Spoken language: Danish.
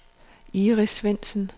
Iris Svendsen